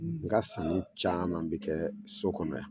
N ga sirili caman bɛ kɛ so kɔnɔ yan.